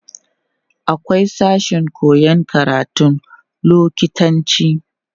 akwai sashen koyan karatun lokitanci